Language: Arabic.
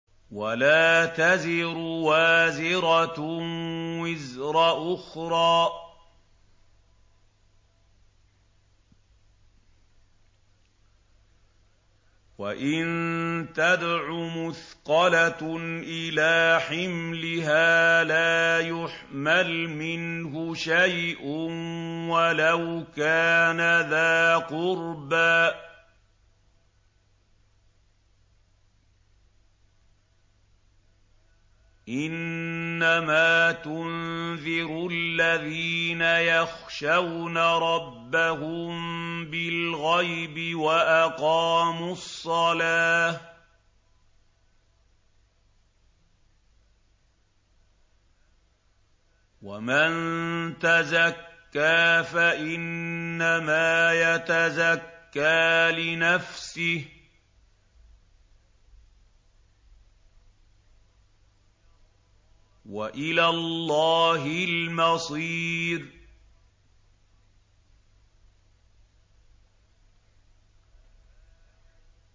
وَلَا تَزِرُ وَازِرَةٌ وِزْرَ أُخْرَىٰ ۚ وَإِن تَدْعُ مُثْقَلَةٌ إِلَىٰ حِمْلِهَا لَا يُحْمَلْ مِنْهُ شَيْءٌ وَلَوْ كَانَ ذَا قُرْبَىٰ ۗ إِنَّمَا تُنذِرُ الَّذِينَ يَخْشَوْنَ رَبَّهُم بِالْغَيْبِ وَأَقَامُوا الصَّلَاةَ ۚ وَمَن تَزَكَّىٰ فَإِنَّمَا يَتَزَكَّىٰ لِنَفْسِهِ ۚ وَإِلَى اللَّهِ الْمَصِيرُ